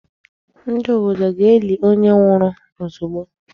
Ndị obodo ga-eli onye nwụrụ ozugbo.